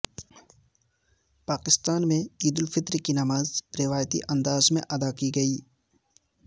پاکستان میں عید الفطر کی نماز روایتی انداز میں ادا کی گئی